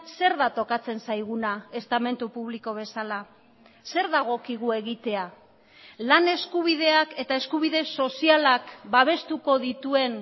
zer da tokatzen zaiguna estamentu publiko bezala zer dagokigu egitea lan eskubideak eta eskubide sozialak babestuko dituen